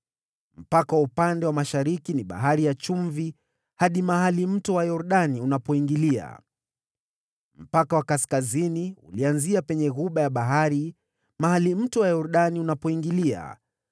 Mpaka wa upande wa mashariki ni Bahari ya Chumvi ukienea mahali Mto Yordani unapoingilia. Mpaka wa upande wa kaskazini ulianzia penye ghuba ya bahari mahali Mto Yordani unapoingilia,